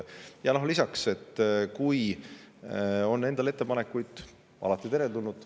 Ja lisaks, kui teil endal on ettepanekuid, siis need on alati teretulnud.